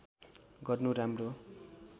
गर्नु राम्रो